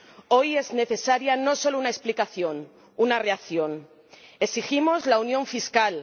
Hoy es necesaria no solo una explicación, una reacción. Exigimos la unión fiscal.